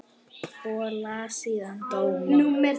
Og las síðan dóma.